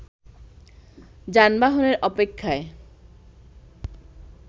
যানবাহনের অপেক্ষায়